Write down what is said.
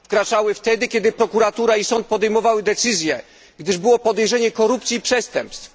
Wkraczały wtedy, gdy prokuratura i sąd podejmowały decyzję, gdyż było podejrzenie korupcji i przestępstw.